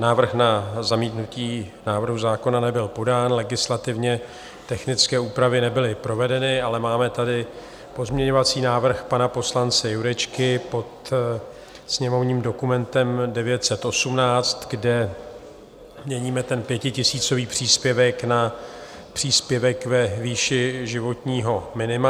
Návrh na zamítnutí návrhu zákona nebyl podán, legislativně technické úpravy nebyly provedeny, ale máme tady pozměňovací návrh pana poslance Jurečky pod sněmovním dokumentem 918, kde měníme ten pětitisícový příspěvek na příspěvek ve výši životního minima.